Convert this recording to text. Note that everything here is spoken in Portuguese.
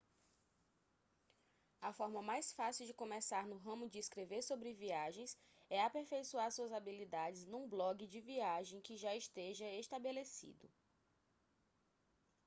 a forma mais fácil de começar no ramo de escrever sobre viagens é aperfeiçoar suas habilidades num blogue de viagem que já esteja estabelecido